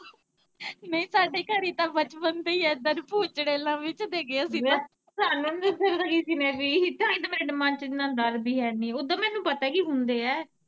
, ਯਾਰ ਸਾਨੂੰ ਵੀ ਤਾਂਹੀ ਤੇ ਮੇਰੇ ਦਿਮਾਗ ਚ ਇੰਨਾ ਡਰ ਵੀ ਹੈਨੀ, ਓਦਾ ਮੈਨੂੰ ਪਤਾ ਕੀ ਹੁੰਦੇ ਐ।